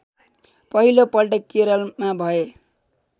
पहिलो पल्ट केरलमा भए